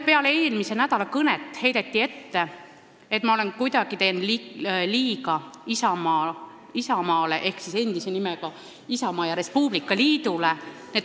Peale eelmise nädala kõnet heideti mulle ette, et ma teen kuidagi liiga Isamaale ehk endise nimega Isamaa ja Res Publica Liidule.